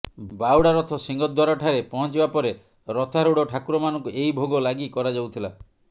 ବାହୁଡ଼ା ରଥ ସିଂହଦ୍ୱାରଠାରେ ପହଞ୍ଚିବା ପରେ ରଥାରୂଢ଼ ଠାକୁରମାନଙ୍କୁ ଏହି ଭୋଗ ଲାଗି କରାଯାଉଥିଲା